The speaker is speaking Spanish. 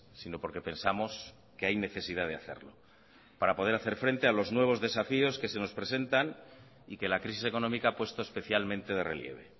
sino porque pensamos que hay necesidad de hacerlo para poder hacer frente a los nuevos desafíos que se nos presentan y que la crisis económica ha puesto especialmente de relieve